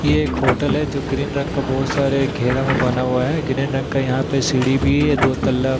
ये एक होटल है जो ग्रीन रंग का बहुत सारे घेरा में बना हुआ है ग्रीन रंग का यहां पे सीडी भी है दो तल्लब --